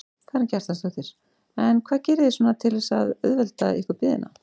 Karen Kjartansdóttir: En hvað gerið þið svona til þess að þarna auðvelda ykkur biðina?